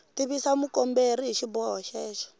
tivisa mukomberi hi xiboho xexo